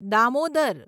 Damodar